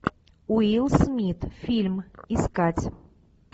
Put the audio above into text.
уилл смит фильм искать